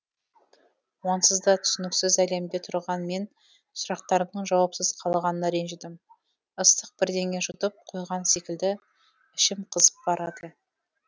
онсыз да түсініксіз әлемде тұрған мен сұрақтарымның жауапсыз қалғанына ренжідім ыстық бірдеңе жұтып қойған секілді ішім қызып барады